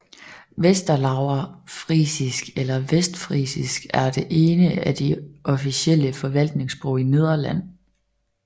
Westerlauwersfrisisk eller vestfrisisk er det ene af de officielle forvaltningssprog i Nederland